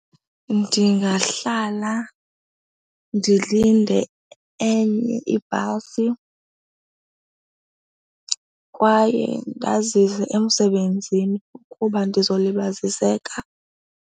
Ndingahlala ndilinde enye ibhasi kwaye ndazise emsebenzini ukuba ndizolibaziseka.